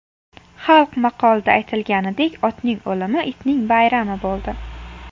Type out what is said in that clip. Xalq maqolida aytilganidek, otning o‘limi itning bayrami bo‘ldi.